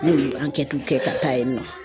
Ne y'olu kɛ ka taa yen nɔ .